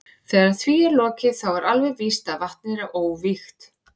Þegar því er lokið þá er alveg víst að vatnið er óvígt.